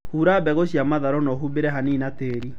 Hura mbegũ cia matharũ na ũhumbĩre hanini na tĩri